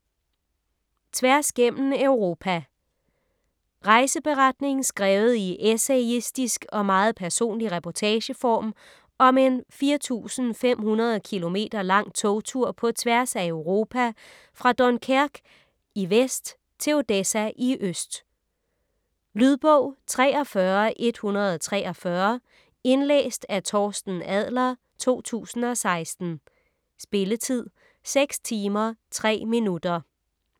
Tværs gennem Europa Rejseberetning skrevet i essayistisk og meget personlig reportageform om en 4500 km lang togtur på tværs af Europa fra Dunkerque i vest til Odessa i øst. Lydbog 43143 Indlæst af Torsten Adler, 2016. Spilletid: 6 timer, 3 minutter.